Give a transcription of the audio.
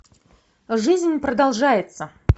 жизнь продолжается